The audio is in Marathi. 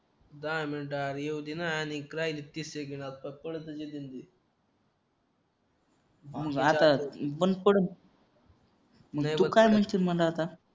दहा मिनिटं अरे येऊ दे ना आणि काय रे तीस सेकंड पॉपकॉर्न आणि आता बंद पडेल आणि तू काय म्हणतो मना आता